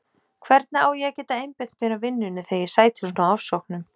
Hvernig á ég að geta einbeitt mér að vinnunni þegar ég sæti svona ofsóknum?